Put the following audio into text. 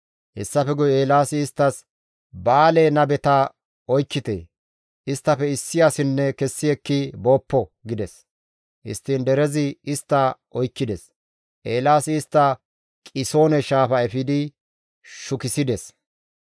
Hessafe guye Eelaasi isttas, «Ba7aale nabeta oykkite. Isttafe issi asikka kessi ekki booppo» gides; histtiin derezi istta oykkides; Eelaasi istta Qisoone Shaafa efidi shukissides.